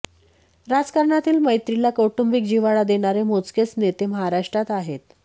राजकारणातील मैत्रीला कौटुंबिक जिव्हाळा देणारे मोजकेच नेते महाराष्ट्रात आहेत